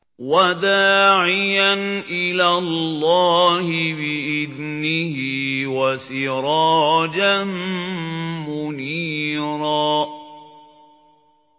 وَدَاعِيًا إِلَى اللَّهِ بِإِذْنِهِ وَسِرَاجًا مُّنِيرًا